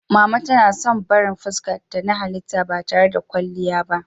Mama tana son barin fuskarta na halitta ba tare da kwalliya ba.